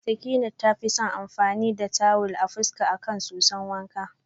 Sakinat tafi son amfani da tuwil a fuska akan soson wanka.